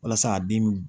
Walasa a den bi